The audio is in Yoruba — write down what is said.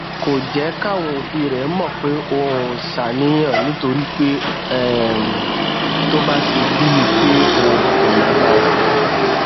kò jé káwọn òbí rè mò pé òun ń ṣàníyàn nítorí pé um tó bá ṣe bíi pé òun kò lágbára